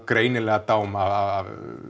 greinilega dám af